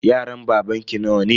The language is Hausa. Yaran babanki nawa ne?